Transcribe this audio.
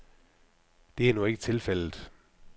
Det er nu ikke tilfældet.